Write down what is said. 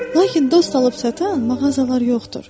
Lakin dost alıb-satan mağazalar yoxdur.